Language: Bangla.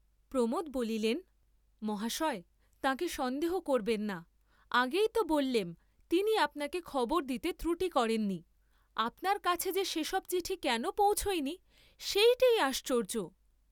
প্রমোদ বলিলেন মহাশয় তাঁকে সন্দেহ করবেন না, আগেইত বল্লেম তিনি আপনাকে খবর দিতে ত্রুটি করেন নি, আপনার কাছে যে সে সব চিঠি কেন পৌঁছয় নি সেইটেই আশ্চর্য্য!